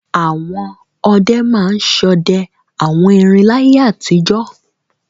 Àwọn ọdẹ máa ń ṣọdẹ àwọn erin láyé àtijọ́.